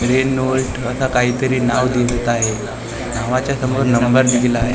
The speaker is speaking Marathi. रेनॉल्ट असा काइ तरी नाव दिसत आहे नावाच्या समोर नंबर दिलेला आहे.